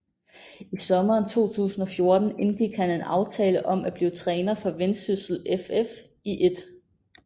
I sommeren 2014 indgik han en aftale om at blive træner for Vendsyssel FF i 1